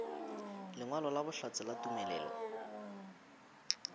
lengwalo la bohlatse la tumelelo